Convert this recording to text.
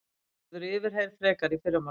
Hún verður yfirheyrð frekar í fyrramálið